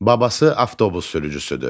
Babası avtobus sürücüsüdür.